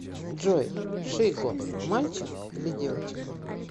джой шиго мальчик или девочка